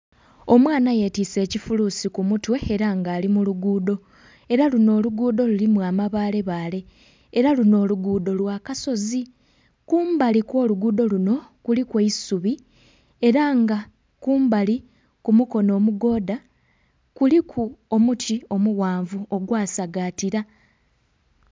Omwana yetise kifuluusi ku mutwe era nga ali mu luguudo era luno oluguudo lurimu amabaale baale era luno oluguudo lwa kasozi. Kumbali kwo luguudo luno kuliku eisubi era nga kumbali ku mukono mugooda kuliku omuti omughanvu ogwa sagatira